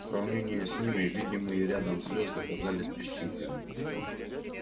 в сравнении с ними видимые рядом звёзды казались песчинками